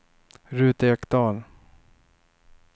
Ruth Ekdahl